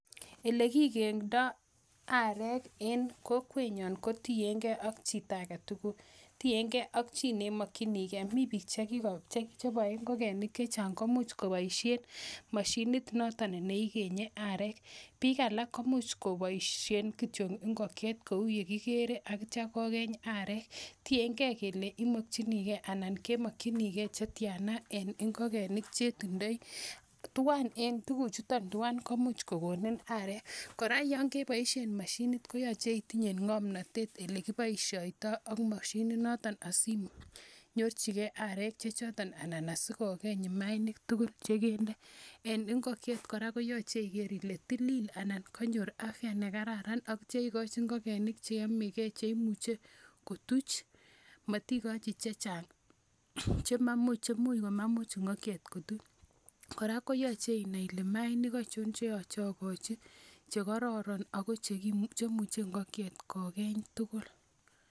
Ole kikeng'dai arek eng' kokwenyan kotien ge ak chito age tugul. Tien ge ak chi ne imakchinigei. Mitei piik che pae ngokenik che chang' komuch kopaishe mashinit notok ne ikenyi areek. Piik alak ko much kopaishe kityo ngokiet kou ye kikere tetia kokeny areek. Tien ge kele imakchinigei anan kemakchinigei che tian a eng' ngokenik che i tindai. Tuguchutok tuwai komuch kokonin areek. Kora yan kepaishe mashinit konyalu itinye ng'amnatet ole kipaishaitai ak mashininotok asi inyorchi gei areek che chotok anan ko si kokeny mainik tugul che kende. En ngokiet kora koyache iker ile tilil anan kanyor afya ne kararan atia ikachi ngokeniik che yame che imuche kotuch. Matikachi che chang' che mamuch komuch ngokiet kotuch. Kora koyache inai ile maainik aichon che makat akachi, che kararan ako chr imuchi ngokiet ko keny tugul.